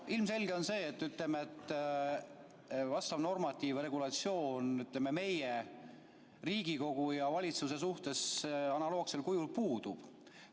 Ilmselge on see, et ütleme, vastav normatiiv või regulatsioon Riigikogu ja valitsuse suhtes analoogsel kujul puudub.